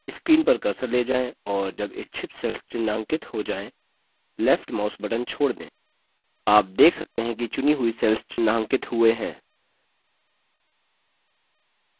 screen पर cursor ले जाएँ और जब इच्छित cells चिन्हांकित you जाएँ left mouse button छोड़ दें आप देखते हैं कि चुनी हुई cells चिन्हांकित हुए हैं